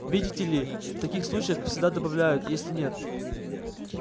видите ли в таких случаях всегда добавляют если нет